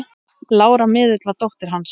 Lára miðill var dóttir hans.